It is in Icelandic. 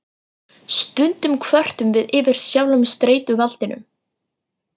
Stundum kvörtum við yfir sjálfum streituvaldinum.